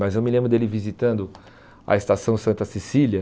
Mas eu me lembro dele visitando a Estação Santa Cecília.